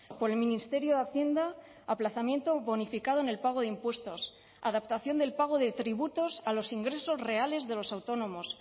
por el ministerio de hacienda aplazamiento bonificado en el pago de impuestos adaptación del pago de tributos a los ingresos reales de los autónomos